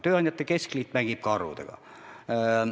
Tööandjate keskliit mängib ka arvudega.